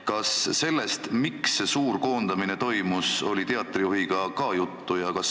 Kas sellest, miks see suur koondamine toimus, oli teatri juhiga ka juttu?